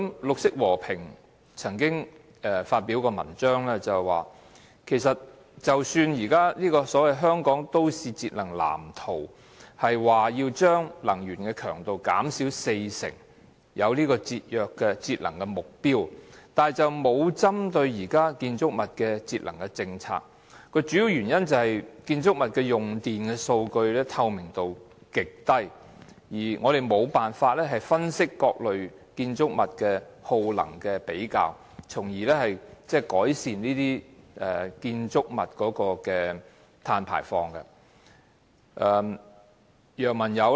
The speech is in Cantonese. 綠色和平曾經發表文章，表示即使《香港都市節能藍圖 2015~2025+》表示能將能源強度減少四成，但當局空有節能目標，卻無針對現時建築物節能的政策，主要原因是建築物的用電情況，透明度極低，我們無法分析各類建築物耗能程度，從而改善建築物的碳排放。